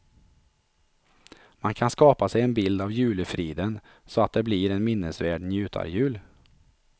Man kan skapa sig en bild av julefriden så att det blir en minnesvärd njutarjul.